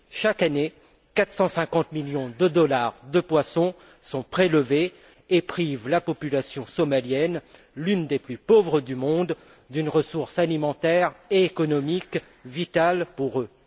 Chaque année, 450 millions de dollars de poisson sont prélevés, privant la population somalienne, l'une des plus pauvres du monde, d'une ressource alimentaire et économique vitale pour eux.